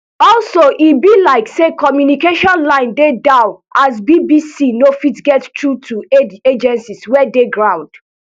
also e be like say communication lines dey down as bbc no fit get through to aid agencies wey dey ground